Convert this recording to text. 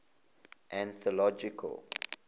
anthological